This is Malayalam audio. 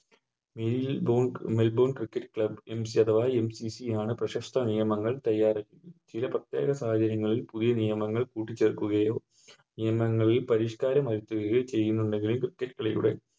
Cricket player ആണ് പ്രശസ്ത നിയമങ്ങൾ തയാറാക്കിയത് ചില പ്രേത്യേക സാഹചര്യങ്ങളിൽ പുതിയ നിയമങ്ങൾ കൂട്ടിച്ചേർക്കുകയോ നിയമങ്ങളിൽ പരിഷ്കാരമാക്കുകയോ ചെയ്യുന്നുണ്ടെങ്കിൽ Cricket കളിയുടെ